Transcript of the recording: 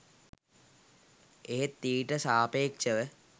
එහෙත් ඊට සාපේක්ශව